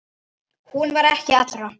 Hún var ekki allra.